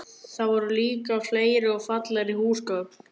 Þar voru líka fleiri og fallegri húsgögn.